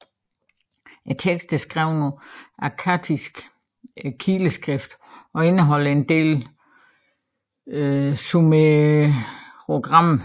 Teksten er skrevet på akkadisk kileskrift og indeholder en del sumerogrammer